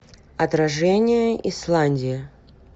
отражение исландия